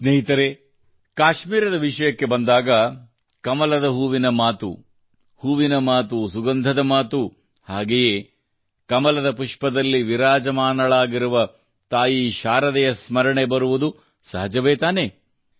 ಸ್ನೇಹಿತರೇ ಕಾಶ್ಮೀರದ ವಿಷಯಕ್ಕೆ ಬಂದಾಗ ಕಮಲದ ಹೂವಿನ ಮಾತು ಹೂವಿನ ಮಾತು ಸುಗಂಧದ ಮಾತು ಹಾಗೆಯೇ ಕಮಲದ ಪುಷ್ಪದಲ್ಲಿ ವಿರಾಜಮಾನಳಾಗಿರುವ ತಾಯಿ ಶಾರದೆಯ ಸ್ಮರಣೆ ಬರುವುದು ಸಹಜವೇ ತಾನೇ